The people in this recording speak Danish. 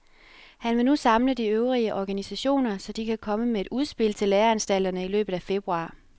Han vil nu samle de øvrige organisationer, så de kan komme med et udspil til læreanstalterne i løbet af februar.